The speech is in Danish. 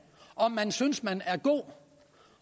om man synes man er god og